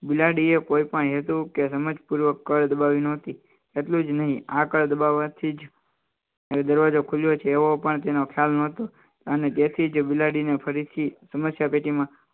બિલાડીએ કોઈપણ હેતુ કે સમજપૂર્વક કળ દબાવી નહોતી એટલું જ નહીં આગળ દબાવવાથી જ દરવાજો ખુલ્યો છે એવો પણ તેનો ખ્યાલ નહોતું અને તેથી જ બિલાડીને ફરીથી સમસ્યા પેટીમાં